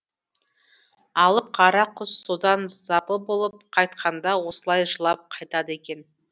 алып қара құс содан запы болып қайтқанда осылай жылап қайтады екен